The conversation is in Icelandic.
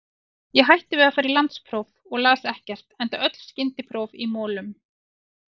Ég hætti við að fara í landspróf og las ekkert, enda öll skyndipróf í molum.